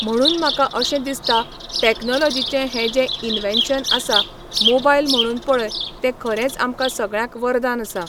म्हणून म्हाका अशें दिसता टॅक्नोलोजीचें हें जें इनवेन्शन आसा मोबायल म्हणून पळय तें खरेंच आमकां सगळ्यांक वरदान आसा.